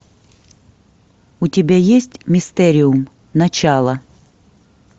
у тебя есть мистериум начало